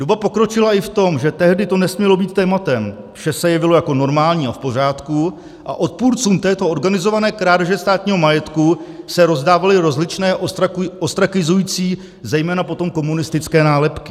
Doba pokročila i v tom, že tehdy to nesmělo být tématem, vše se jevilo jako normální a v pořádku, a odpůrcům této organizované krádeže státního majetku se rozdávaly rozličné ostrakizující, zejména potom komunistické nálepky.